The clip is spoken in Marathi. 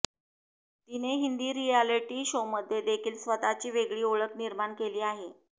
तिने हिंदी रिअॅलिटी शोमध्ये देखील स्वतःची वेगळी ओळख निर्माण केली आहे